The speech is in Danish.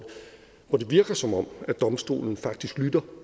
hvor det virker som om domstolen faktisk lytter